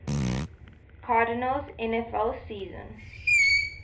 cardinals nfl season